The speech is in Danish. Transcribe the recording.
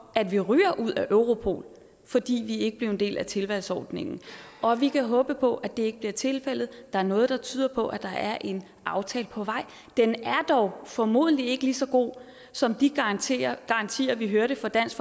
at vi ryger ud af europol fordi vi ikke blev en del af tilvalgsordningen og vi kan håbe på at det ikke bliver tilfældet der er noget der tyder på at der er en aftale på vej den er dog formodentlig ikke lige så god som de garantier garantier vi hørte fra dansk